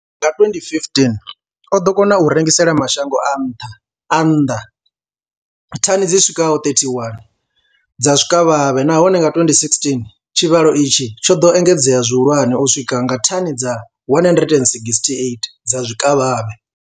Nga 2015, o ḓo kona u rengisela mashango a nnḓa thani dzi swikaho 31 dza zwikavhavhe, nahone nga 2016 tshivhalo itshi tsho ḓo engedzea zwihulwane u swika kha thani dza 168 dza zwikavhavhe.